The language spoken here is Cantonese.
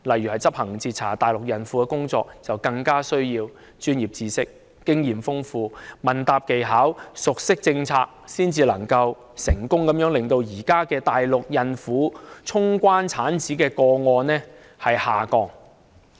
以執行截查大陸孕婦的工作為例，他們需要具備專業知識、豐富經驗、問答技巧及熟悉政策，這樣才可以成功令現時大陸孕婦衝關產子的個案下降。